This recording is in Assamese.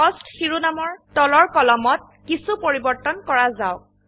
কোস্ট শিৰোনামৰ তলৰ কলমত কিছো পৰিবৰ্তন কৰা যাওক